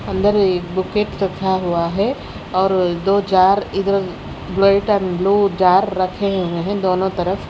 अंदर एक बुकेट रखा हुआ है और दो जार इधर वाइट एंड ब्लू जार रखे हुए हैं दोनों तरफ।